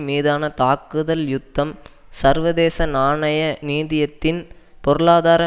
மீதான தாக்குதல் யுத்தம் சர்வதேச நாணய நிதியத்தின் பொருளாதார